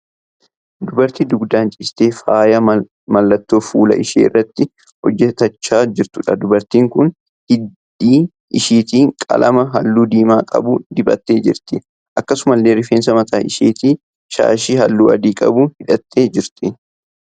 Dubartii dugdaan ciistee faayya mallattoo fuula ishee irratti hojjetachaa jirtuudha. Dubartiin kun hidhii isheetti qalama halluu diimaa qabu dibattee jirti. Akkasumallee rifeensa mataa isheetti shaashii halluu adii qabu hidhattee jirti.